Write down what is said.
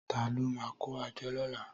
Tàló mà kó ájò lòlá?